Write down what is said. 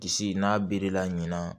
Disi n'a birila ɲina